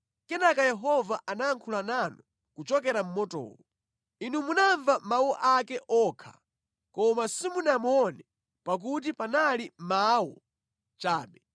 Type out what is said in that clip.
Kenaka Yehova anayankhula nanu kuchokera mʼmotowo. Inu munamva mawu ake okha koma simunamuone pakuti panali mawu chabe.